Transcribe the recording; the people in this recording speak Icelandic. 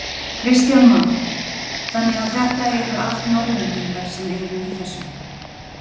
Kristján Már: Þannig að þetta eru allt Norðlendingar sem eru í þessu?